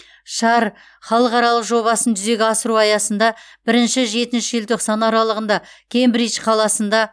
шар халықаралық жобасын жүзеге асыру аясында бірінші жетінші желтоқсан аралығында кембридж қаласында